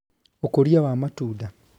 Ũkũria wa matunda